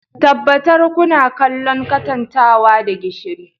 Tabbatar kuna kallon katantanwa da gishiri